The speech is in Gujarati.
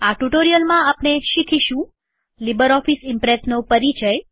આ ટ્યુટોરીયલમાં આપણે આ વિશે શીખીશું લીબરઓફીસ ઈમ્પ્રેસનો પરિચય